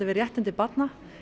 réttindi barna